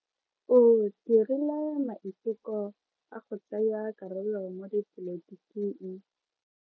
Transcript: O dirile maiteko a go tsaya karolo mo dipolotiking.